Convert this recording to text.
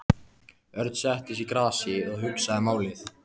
Örn settist í grasið og hugsaði málið.